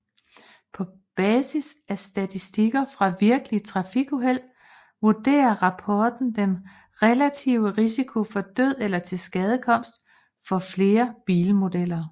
På basis af statistikker fra virkelige trafikuheld vurderer rapporten den relative risiko for død eller tilskadekomst for flere forskellige bilmodeller